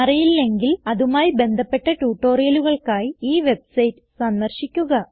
അറിയില്ലെങ്കിൽ അതുമായി ബന്ധപ്പെട്ട ട്യൂട്ടോറിയലുകൾക്കായി ഈ വെബ്സൈറ്റ് സന്ദർശിക്കുക